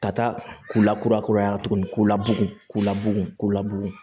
Ka taa k'u la kura kuraya tuguni k'u labugu k'u labugu